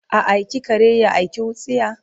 A aiki kare ya aiki wutsiya?